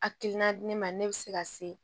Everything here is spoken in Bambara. Akilina di ne ma ne bɛ se ka se